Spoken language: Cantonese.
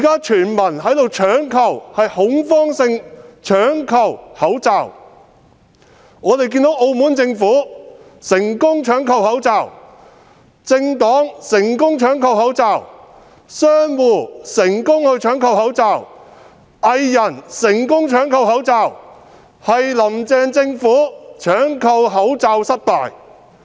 全民現正恐慌性搶購口罩，我們看到澳門政府成功搶購口罩、政黨成功搶購口罩、商戶成功搶購口罩、藝人亦成功搶購口罩，只是"林鄭"政府搶購口罩失敗。